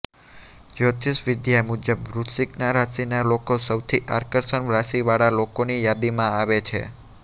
જ્યોતિષ વિદ્યા મુજબ વૃશ્ચિક રાશિના લોકો સૌથી આકર્ષક રાશિ વાળા લોકોની યાદીમાં આવે છે